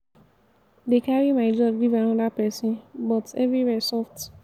dey carry my job give another person but everywhere soft.